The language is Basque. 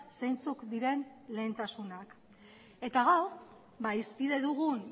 zeintzuk diren lehentasunak eta gaur hizpide dugun